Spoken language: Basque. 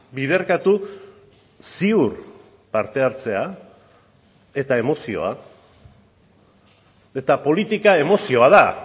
biderkatu ziur parte hartzea eta emozioa eta politika emozioa da